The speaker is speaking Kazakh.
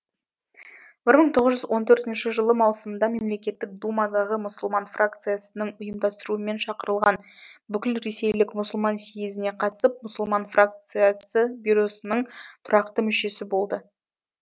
бір мың тоғыз жүз он төртінші жылы маусымда мемлекеттік думадағы мұсылман фракциясының ұйымдастыруымен шақырылған бүкілресейлік мұсылман сиезіне қатысып мұсылман фракциясы бюросының тұрақты мүшесі болды